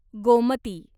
Gomti